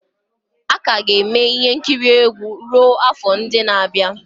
A ka ga-eme ihe nkiri egwu ruo afọ ndị na-abịa.